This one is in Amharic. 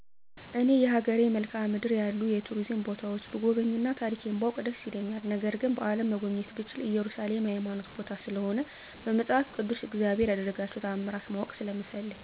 እኔ የሀገሬን መልካዓ ምድር ያሉ የቱሪዝም ቦታዎችን ብጎበኝ እና ታሪኬን ባውቅ ደስ ይለኛል ነገር ግን በአለም መጎብኘት ብችል እየሩሳሌም የሀይማኖት ቦታ ስለሆነ በመፃፍ ቅድስ እግዚአብሔር የደረጋቸውን ታምራት ማወቅ ስለምፈልግ።